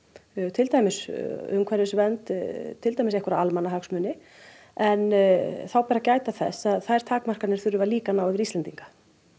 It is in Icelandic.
til dæmis umhverfisvernd til dæmis einhverja almannahagsmuni en þá ber að gæta þess að þær takmarkanir þurfa líka að ná yfir Íslendinga